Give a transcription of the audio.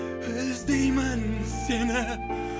іздеймін сені